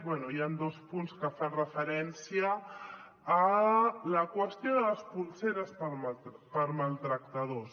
bé hi han dos punts que fan referència a la qüestió de les polseres per a maltractadors